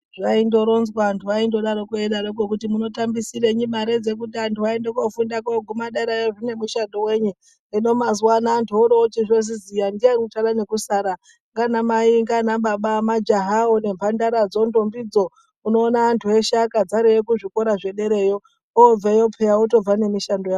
Zvaindoronzwa , antu aindodaroko eidaroko kuti munotambisirei mare dzekuti antu aende kofunda koguma derayo zvine muchato wenyi , hino muzuwa ano antu orochizoziya ndiani uchave nekusara ngaana mai ngana Baba , majahawo , nemhandara dzo , ndombidzo unoona antu eshe akadzareyo kuzvikora zvedereyo obeyo peya otobva nemishando yavo